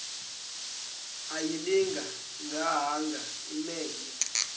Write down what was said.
ayilinga gaahanga imenywe